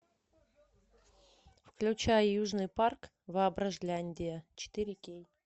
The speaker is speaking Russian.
включай южный парк воображляндия четыре кей